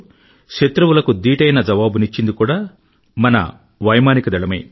1965లో శత్రువుల మొహం పగిలేలా జవాబునిచ్చింది కూడా మన వైమానిక దళమే